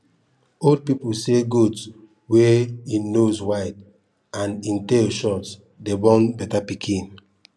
old people say goat wey en nose wide and en tail short dey born better pikin